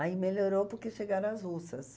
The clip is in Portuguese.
Aí melhorou porque chegaram as russas.